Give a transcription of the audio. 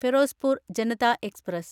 Ferozepur Janata express